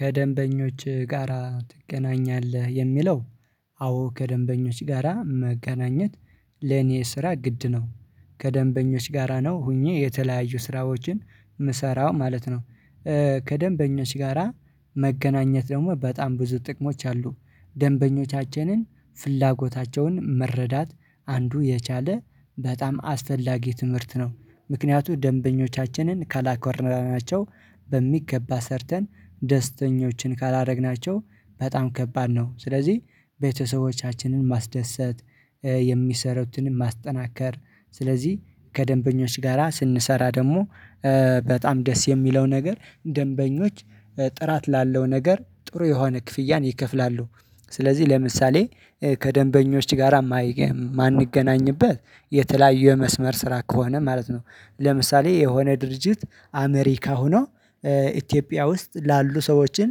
ከደንበኞች ጋራ ትገናኛለህ? የሚለው አዎ ከደንበኞች ጋራ መገናኘት ለኔ ስራ ግድ ነው። ከደንበኞች ጋራ ነው ሆኜ የተለያዩ ስራዎችን የምሰራው ማለት ነው። ከደንበኞች ጋራ መገናኘት ደግሞ በጣም ብዙ ጥቅሞች አሉ ደንበኞቻችንን ፍላጎታቸውን መረዳት አንዱ የቻለ በጣም አስፈላጊ ትምህርት ነው። ምክንያቱም ደንበኞቻችንን ከላኮራናቸው በሚገባ ሰርተን ደስተኞችን ካላደረግናቸው በጣም ከባድ ነው። ስለዚህ ቤተሰቦቻችንን ማስደሰት የሚሰሩትን ማስጠናከር ስለዚህ ከደንበኞች ጋራ ስንሰራ ደግሞ በጣም ደስ የሚለው ነገር ደንበኞች ጥራት ላለው ነገር ጥሩ የሆነ ክፍያን ይከፍላሉ። ስለዚህ ለምሳሌ ከደንበኞች ጋር የማንገናኝበት የተለያዩ የመስመር ስራ ከሆነ ማለት ነው። ለምሳሌ የሆነ ድርጅት አሜሪካ ሆኖ ኢትዮጵያ ውስጥ ላሉ ሰዎችን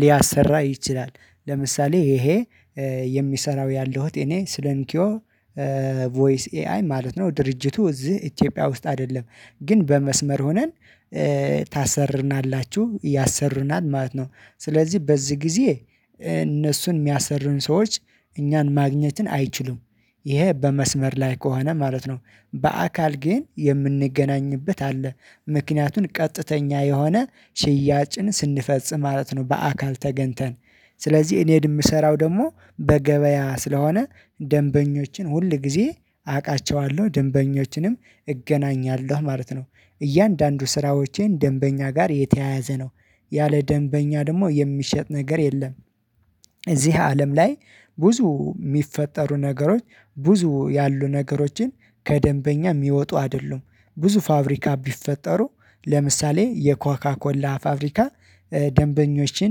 ሊያሠራ ይችላል። ለምሳሌ ይሄ የሚሰራው ያለሁት እኔ ስለንኪዮ ቮይስ ኤአይ ማለት ነው። ድርጅቱ እዚህ ኢትዮጵያ ውስጥ አይደለም ግን በመስመር ሆነን ታሠሩናላችሁ ያሠሩናል ማለት ነው። ስለዚህ በዚህ ጊዜ እነሱን የሚያሠርኑ ሰዎች እኛን ማግኘትን አይችሉም። ይሄ በመስመር ላይ ከሆነ ማለት ነው በአካል ግን የምንገናኝበት አለ ምክንያቱን ቀጥተኛ የሆነ ሽያጭን ስንፈጽም ማለት ነው። በአካል ተገንተን ስለዚህ እኔን የምሰራው ደግሞ በገበያ ስለሆነ ደንበኞችን ሁል ጊዜ አውቃቸዋለሁ ደንበኞችንም እገናኛለሁ ማለት ነው። እያንዳንዱ ስራዎቼን ደንበኛ ጋር የተያያዘ ነው ያለ ደንበኛ ደግሞ የሚሸጥ ነገር የለም። እዚህ አለም ላይ ብዙ የሚፈጠሩ ነገሮች ብዙ ያሉ ነገሮችን ከደንበኛ የሚወጡ አይደሉም። ብዙ ፋብሪካ ቢፈጠሩ ለምሳሌ የኮካ ኮላ ፋብሪካ ደንበኞችን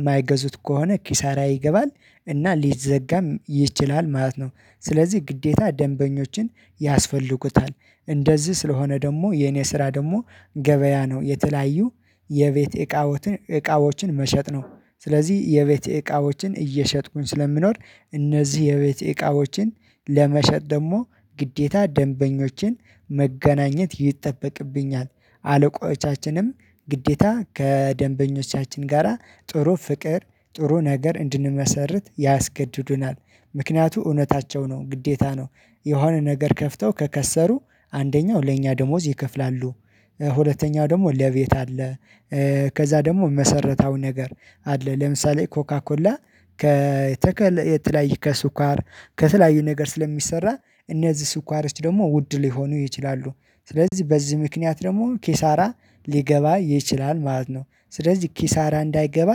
የማይገዙት ከሆነ ኪሳራ ይገባል እና ሊዘጋም ይችላል ማለት ነው። ስለዚህ ግዴታ ደንበኞችን ያስፈልጉታል እንደዚህ ስለሆነ ደግሞ የኔ ስራ ደግሞ ገበያ ነው። የተለያዩ የቤት እቃዎትን እቃዎችን መሸጥ ነው። ስለዚህ የቤት እቃዎችን እየሸጥኩኝ ስለምኖር እነዚህ የቤት እቃዎችን ለመሸጥ ደግሞ ግዴታ ደንበኞችን መገናኘት ይጠበቅብኛል። አለቆቻችንም ግዴታ ከደንበኞቻችን ጋራ ጥሩ ፍቅር ጥሩ ነገር እንድንመሠርት ያስገድዱናል ምክንያቱ እውነታቸው ነው ግዴታ ነው። የሆነ ነገር ከፍተው ከከሰሩ አንደኛው ለኛ ደሞዝ ይከፍላሉ። ሁለተኛው ደግሞ ለቤት አለ። ከዛ ደግሞ መሰረታዊ ነገር አለ ለምሳሌ ኮካኮላ ከተከለ የተለያየ ከሱካር ከተላየ ነገር ስለሚሠራ እነዚህ ሱካሮች ደግሞ ውድ ሊሆኑ ይችላሉ። ስለዚህ በዚህ ምክንያት ደግሞ ኪሳራ ሊገባ ይችላል ማለት ነው። ስለዚህ ኪሳራ እንዳይገባ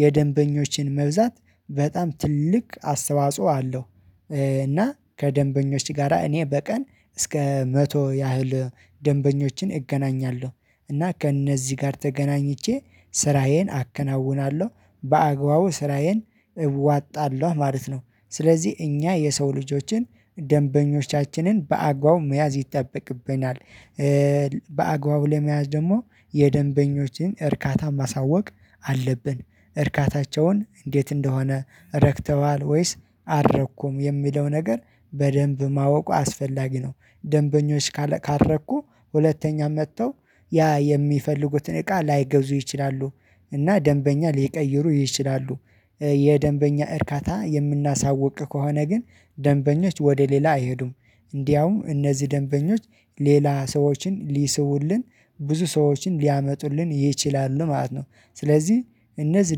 የደንበኞችን መብዛት በጣም ትልቅ አስተዋጽኦ አለው። እና ከደንበኞች ጋራ እኔ በቀን እስከ መቶ ያህል ደንበኞችን እገናኛለሁ እና ከእነዚህ ጋር ተገናኝቼ ስራዬን አከናውናለሁ በአግባቡ ስራዬን እዋጣለሁ ማለት ነው። ስለዚህ እኛ የሰው ልጆችን ደንበኞቻችንን በአግባቡ መያዝ ይጠበቅብናል። በአግባቡ ለመያዝ ደግሞ የደንበኞችን እርካታ ማሳወቅ አለብን። እርካታቸውን እንዴት እንደሆነ ረክተዋል ወይስ አረኩም የሚለው ነገር በደንብ ማወቅ አስፈላጊ ነው። ደንበኞች ካልረኩ ሁለተኛ መጥተው ያ የሚፈልጉትን እቃ ላይገዙ ይችላሉ እና ደንበኛ ሊቀይሩ ይችላሉ። የደንበኛ እርካታ የምናሳውቅ ከሆነ ግን ደንበኞች ወደ ሌላ አይሄዱም። እንዲያውም እነዚህ ደንበኞች ሌላ ሰዎችን ሊስቡልን ብዙ ሰዎችን ሊያመጡልን ይችላሉ ማለት ነው። ስለዚህ እነዚህ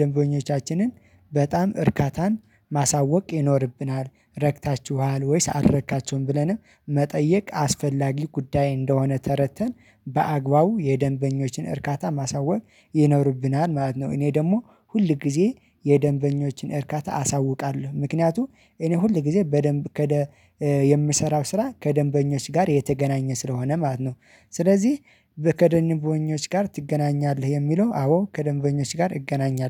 ደንበኞቻችንን በጣም እርካታን ማሳወቅ ይኖርብናል ረክታችኋል ወይስ አረካችሁም ብለንም መጠየቅ አስፈላጊ ጉዳይ እንደሆነ ተረተን በአግባቡ የደንበኞችን እርካታ ማሳወቅ ይኖርብናል ማለት ነው። እኔ ደግሞ ሁል ጊዜ የደንበኞችን እርካታ አሳውቃለሁ ምክንያቱም እኔ ሁል ጊዜ በደንብ የምሰራው ስራ ከደንበኞች ጋር የተገናኘ ስለሆነ ማለት ነው። ስለዚህ ከደንበኞች ጋር ትገናኛለህ? የሚለው አዎ ከደንበኞች ጋር እገናኛለሁ